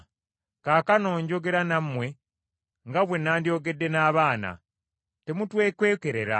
Kaakano njogera nammwe nga bwe nandyogedde n’abaana, temutwekwekerera.